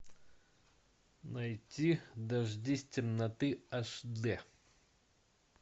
найти дождись темноты аш д